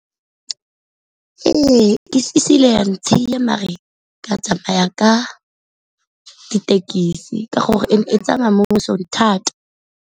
Ee, mare ka tsamaya ka dithekisi ka gore e ne e tsamaya mo mosong thata.